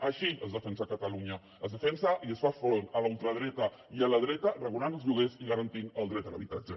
així es defensa catalunya es defensa i es fa front a la ultradreta i a la dreta regulant els lloguers i garantint el dret a l’habitatge